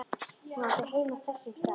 Hún átti heima á þessum stað.